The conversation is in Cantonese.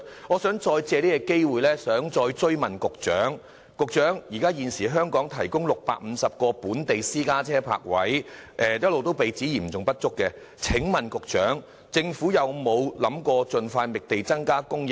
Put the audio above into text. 我想藉這個機會追問局長，現時香港提供650個本地私家車泊位，一直被指嚴重不足，請問政府有否考慮盡快覓地增加泊車位？